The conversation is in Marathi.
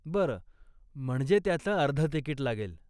बरं, म्हणजे त्याचं अर्ध तिकीट लागेल.